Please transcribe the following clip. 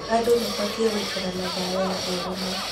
Andũ mabatiĩ gũikara na thayũ na ũrũmwe.